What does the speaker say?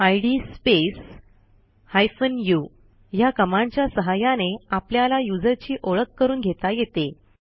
इद space hyphen u ह्या कमांडच्या सहाय्याने आपल्याला युजरची ओळख करून घेता येते